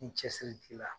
Ni cɛsiri b'i la